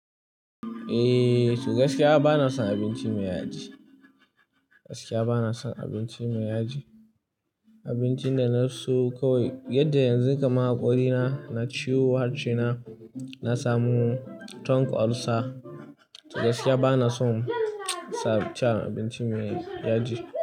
Eh, gaskiya bana son abinci mai yaji. Gaskiya bana son abinci mai yaji. Abincin da na so kawai, yadda yanzu kamar haƙori na, na ciwo harshe na, na samu tongue ulcer. Gaskiya bana son ci abinci mai yaji.